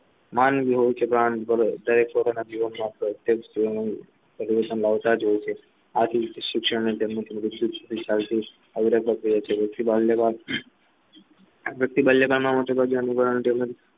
માનવી હોય છે દરેક પોતાના જીવનમાં પોતાની પરિવર્તન લાવતા જ હોય છે આથી શિક્ષણની તેમની ખૂબ જ જરૂરી છે જાન લેવા